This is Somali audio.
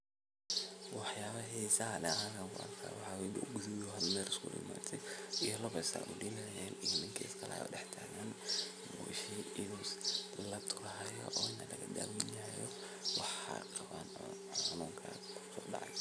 Haa waan kuu sharixi karaa waxa halkan ka socda. Marka la eego sawirka aad tilmaantay oo ah beer la diyaarinayo, waxa muuqata hawl beeraleyda ay ka wadaan dhulka si ay ugu sameeyaan diyaargarowga xilliga beeraleyda.